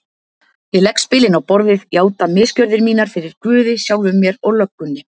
Ég legg spilin á borðið, játa misgjörðir mínar fyrir guði, sjálfum mér og löggunni.